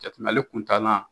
ale kuntala